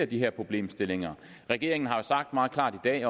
de her problemstillinger regeringen har sagt meget klart i dag